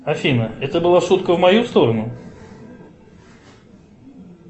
афина это была шутка в мою сторону